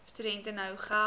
studente nou geld